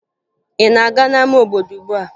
Ị na-aga n'ama obodo ugbua?